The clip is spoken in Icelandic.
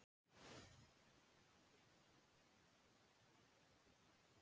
En sé svipinn á Júlíu, þennan dimma þunga dapurleika, og þagna.